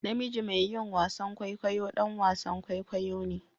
Namiji mai yin wasan kwaikwayo ɗan wasan kwaikwayo ne